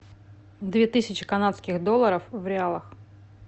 две тысячи канадских долларов в реалах